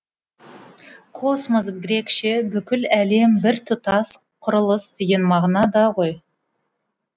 космос грекше бүкіл әлем бір тұтас құрылыс деген мағынада ғой